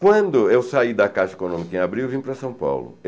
Quando eu saí da Casa Econômica em abril, eu vim para São Paulo.